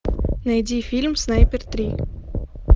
найди фильм снайпер три